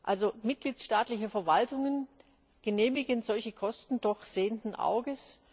Also, mitgliedstaatliche Verwaltungen genehmigen solche Kosten doch sehenden Auges.